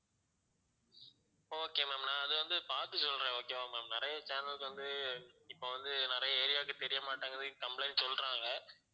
okay ma'am நான் அது வந்து பார்த்து சொல்றேன் okay வா ma'am நிறைய channels வந்து இப்ப வந்து நிறைய area க்கு தெரியமாட்டிங்குது complaint சொல்றாங்க